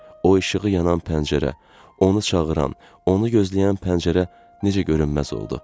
O işığı yanan pəncərə, onu çağıran, onu gözləyən pəncərə necə görünməz oldu.